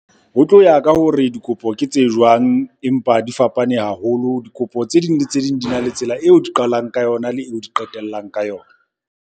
Ho tlo ya ka hore dikopo ke tse jwang, empa di fapane haholo. Dikopo tse ding le tse ding, di na le tsela eo di qalang ka yona le eo di qetellang ka yona.